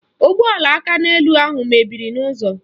Ụgbọala akaneelu ahụ mebiri n'ụzọ